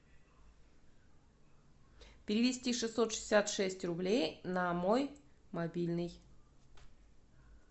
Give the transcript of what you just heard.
перевести шестьсот шестьдесят шесть рублей на мой мобильный